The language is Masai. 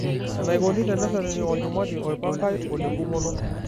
Enaikoni tenereteni olchumati oipangae olengumoto.